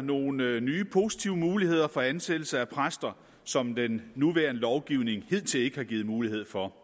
nogle nye positive muligheder for ansættelse af præster som den nuværende lovgivning hidtil ikke har givet mulighed for